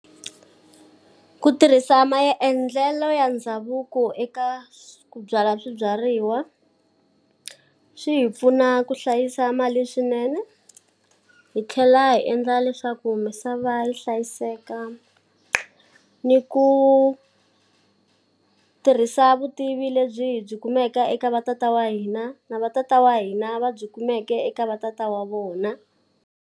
Ku tirhisa maendlelo ya ndhavuko eka ku byala swibyariwa, swi hi pfuna ku hlayisa mali swinene. Hi tlhela hi endla leswaku misava yi hlayiseka ni ku tirhisa vutivi lebyi byi kumeka eka va tatana wa hina, na va tatana wa hina va byi kumeke eka va tatana wa vona.